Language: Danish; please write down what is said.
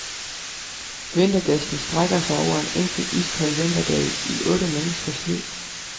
Vintergæsten strækker sig over en enkelt iskold vinterdag i otte menneskers liv.